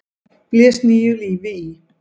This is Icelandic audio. blés nýju lífi í.